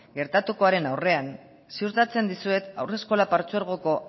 gertatukoaren aurrean ziurtatzen dizuet haurreskolak partzuergoko